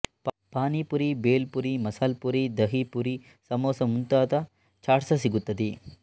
ಪಾನಿ ಪುರಿ ಭೆಲ್ ಪುರಿ ಮಸಾಲ ಪುರಿ ಧಹಿ ಪುರಿ ಸಮೋಸ ಮತ್ತು ಮುಂತ್ತಾದ ಚಾಟ್ಸ ಸಿಗುತ್ತದೆ